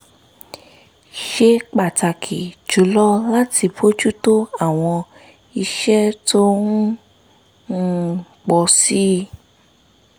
ṣe pàtàkì jù lọ láti bójú tó àwọn iṣẹ́ tó ń um pọ̀ sí i